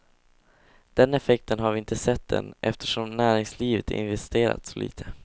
Den effekten har vi inte sett än, eftersom näringslivet investerat så lite.